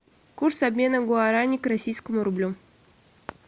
курс обмена гуарани к российскому рублю